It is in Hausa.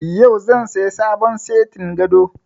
Yau zan saya sabon setin gado